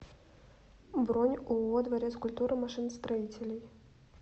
бронь ооо дворец культуры машиностроителей